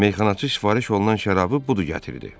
Meyxanaçı sifariş olunan şərabı budur gətirdi.